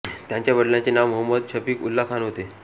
त्यांच्या वडिलांचे नाव मोहम्मद शफीक उल्ला खान होते